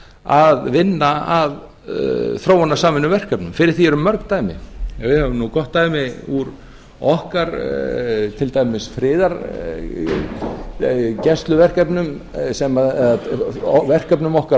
að vinna að þróunarsamvinnuverkefnum fyrir því eru mörg dæmi við höfum gott dæmi úr okkar til dæmis friðargæsluverkefnum eða verkefnum okkar á